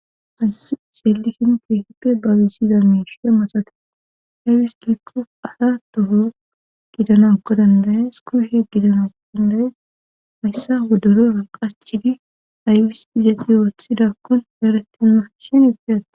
Haysi xeelisin keehippe babizida miishie maxate aywis gikqo asa toho gidanakko dandayes kuhe gidanako dandayees hayssa wodoro raqachidi aywis izexi ooththidakkon heeretema shin ideyati.